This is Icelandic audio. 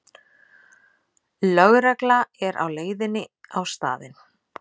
Lögregla er á leiðinni á staðinn